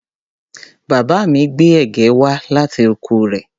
Bàbá mi gbé ẹ̀gẹ́ wá láti oko rẹ̀.